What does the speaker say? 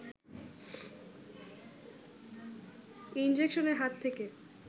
ইনজেকশনের হাত থেকে